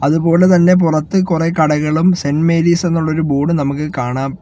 അതുപോലെതന്നെ പുറത്ത് കുറെ കടകളും സെന്റ് മേരീസ് എന്നുള്ളൊരു ബോർഡും നമുക്ക് കാണാം.